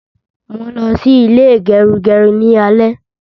Mo n lọ sí ilé gerugeru ni alẹ́